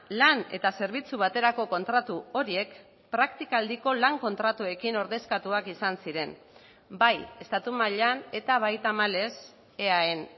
lan eta zerbitzu baterako kontratu horiek praktikaldiko lan kontratuekin ordezkatuak izan ziren bai estatu mailan eta bai tamalez eaen